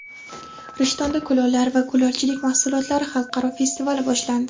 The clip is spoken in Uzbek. Rishtonda kulollar va kulolchilik mahsulotlari xalqaro festivali boshlandi.